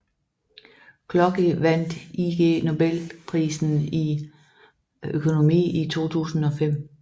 Clocky vandt Ig Nobelprisen i økonomi i 2005